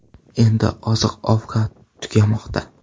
Endi oziq-ovqat tugamoqda.